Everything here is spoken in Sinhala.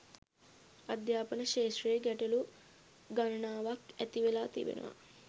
අධ්‍යාපන ක්‍ෂේත්‍රයේ ගැටලු ගණනාවක් ඇති වෙලා තිබෙනවා